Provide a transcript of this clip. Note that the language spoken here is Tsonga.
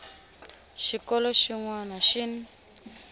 xikolo xin wana na xin